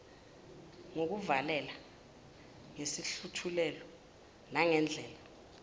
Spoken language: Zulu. ngokuluvalela ngesihluthulelo nangandlela